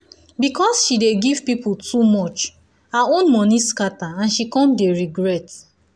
because she dey give people too much her own money scatter and she come dey regret.